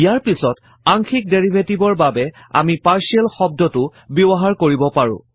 ইয়াৰ পিছত আংশিক ডেৰিভেটিভৰ বাবে আমি পাৰ্টিয়েল শব্দটো ব্যৱহাৰ কৰিব পাৰো